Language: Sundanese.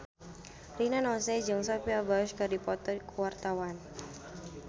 Rina Nose jeung Sophia Bush keur dipoto ku wartawan